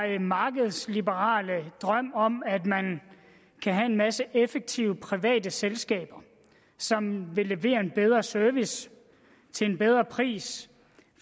her markedsliberale drøm om at man kan have en masse effektive private selskaber som vil levere en bedre service til en bedre pris